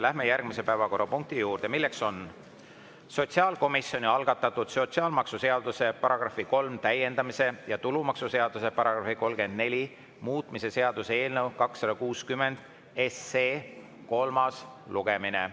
Läheme järgmise päevakorrapunkti juurde, milleks on sotsiaalkomisjoni algatatud sotsiaalmaksuseaduse § 3 täiendamise ja tulumaksuseaduse § 34 muutmise seaduse eelnõu 260 kolmas lugemine.